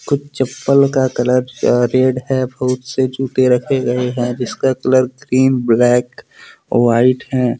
कुछ चप्पल का कलर रेड है। बहुत से जूते रखे गए हैं। जिसका कलर क्रीम ब्लैक व्हाइट हैं।